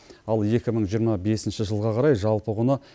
ал екі мың жиырма бесінші жылға қарай жалпы құны